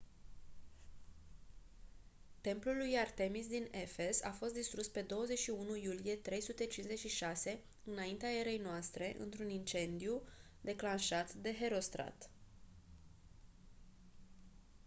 templul lui artemis din efes a fost distrus pe 21 iulie 356 î.e.n. într-un incendiu declanșat de herostrat